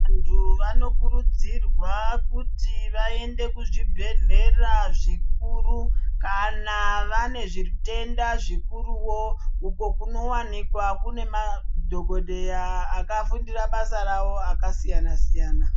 Vantu vanokurudzirwa kuti vaende kuzvibhedhlera zvikuru kana vane zvitenda zvikuruwo uko kunowanikwa kuine madhokodheya akafundira bsa ravo akasiyana siyana.